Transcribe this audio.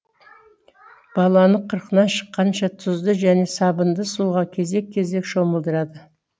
баланы қырқынан шыққанша тұзды және сабынды суға кезек кезек шомылдырады